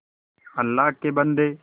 अल्लाह के बन्दे